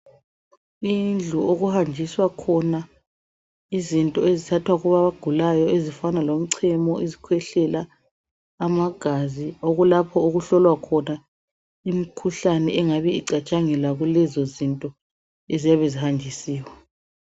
Indlu okuhanjiswa khona izinto ezithathwa kwabagulayo ezifana lemchemo, izikhwehlela amagazi okulapho okuhlolwa khona imkhuhlane engabe icatshangelwa kulezo zinto eziyabe zihanjisiwe.